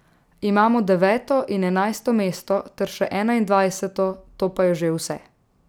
Imamo deveto in enajsto mesto ter še enaindvajseto, to pa je že vse.